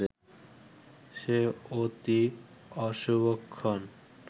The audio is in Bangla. সে অতি অশুভক্ষণ